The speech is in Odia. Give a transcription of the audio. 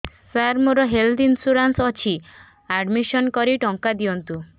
ସାର ମୋର ହେଲ୍ଥ ଇନ୍ସୁରେନ୍ସ ଅଛି ଆଡ୍ମିଶନ କରି ଟଙ୍କା ଦିଅନ୍ତୁ